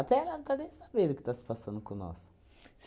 ela não está nem sabendo o que está se passando com nós.